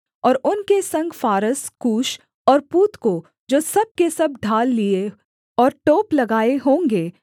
और उनके संग फारस कूश और पूत को जो सब के सब ढाल लिए और टोप लगाए होंगे